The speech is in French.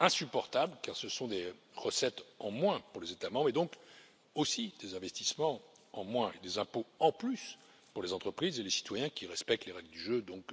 Insupportables, car ce sont des recettes en moins pour les États membres et donc aussi des investissements en moins et des impôts en plus pour les entreprises et les citoyens qui respectent les règles du jeu, donc